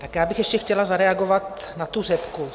Tak já bych ještě chtěla zareagovat na tu řepku.